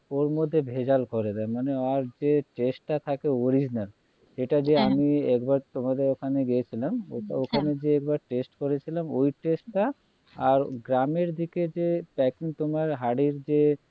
ওর মধ্যে ভেজাল করে দেয় মানে আর যে taste টা থাকে original এইটা যে আমি হ্যাঁ একবার তোমাদের ওখানে গিয়েছিলাম হ্যাঁ ওখানে যে একবার taste করেছিলাম ওই taste টা আর গ্রামের দিকে যে packing তোমার হাঁড়ির যে